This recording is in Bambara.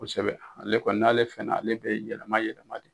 Kosɛbɛ ale kɔni n'ale fɛnna ale bɛ yɛlɛma yɛlɛma de